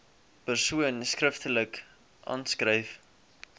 persoon skriftelik aanskryf